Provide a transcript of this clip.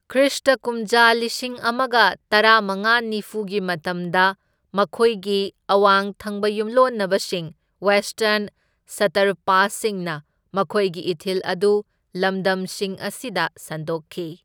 Christ ꯀꯨꯝꯖꯥ ꯂꯤꯁꯤꯡ ꯑꯃꯒ ꯇꯔꯥꯃꯉꯥ ꯅꯤꯐꯨꯒꯤ ꯃꯇꯝꯗ, ꯃꯈꯣꯏꯒꯤ ꯑꯋꯥꯡ ꯊꯪꯕ ꯌꯨꯝꯂꯣꯟꯅꯕꯁꯤꯡ ꯋꯦꯁꯇꯔꯟ ꯁꯇ꯭ꯔꯄꯥꯁꯁꯤꯡꯅ ꯃꯈꯣꯏꯒꯤ ꯏꯊꯤꯜ ꯑꯗꯨ ꯂꯝꯗꯝꯁꯤꯡ ꯑꯁꯤꯗ ꯁꯟꯗꯣꯛꯈꯤ꯫